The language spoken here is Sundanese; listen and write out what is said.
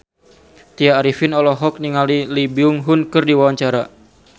Tya Arifin olohok ningali Lee Byung Hun keur diwawancara